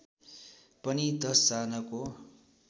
पनि १० जनाको